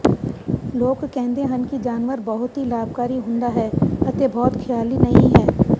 ਲੋਕ ਕਹਿੰਦੇ ਹਨ ਕਿ ਜਾਨਵਰ ਬਹੁਤ ਹੀ ਲਾਭਕਾਰੀ ਹੁੰਦਾ ਹੈ ਅਤੇ ਬਹੁਤ ਖ਼ਿਆਲੀ ਨਹੀ ਹੈ